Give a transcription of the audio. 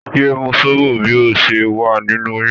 Yé mú sóbò bí o ṣe wà nínú oyún!